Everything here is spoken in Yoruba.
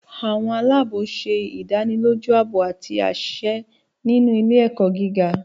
Àwọn aláàbò ṣe idaniloju aabo ati aṣẹ ni ile-ẹkọ giga